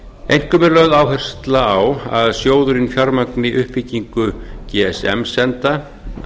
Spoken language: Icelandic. einkum er lögð áhersla á að sjóðurinn fjármagni uppbyggingu gsm senda